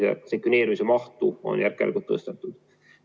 Sekveneerimise mahtu on järk-järgult tõstetud.